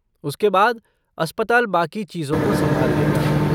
उसके बाद, अस्पताल बाकी चीज़ों को संभाल लेगा।